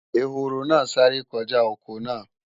Ehoro náà sáré kọjá ọkọ náà